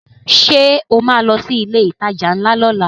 Ṣo ma lọ sí ilé ìtajà ńlá lọ́la?